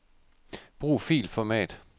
Brug filformat.